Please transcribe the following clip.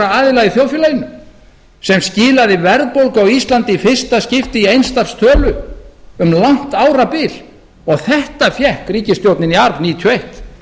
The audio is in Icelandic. aðila í þjóðfélaginu sem skilaði verðbólgu á íslandi í fyrsta skipti í eins stafs tölu um langt árabil þetta fékk ríkisstjórnin í arf nítján hundruð níutíu og eitt